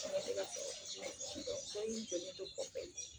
dɔ y'i jɔlenn to kɔfɛ in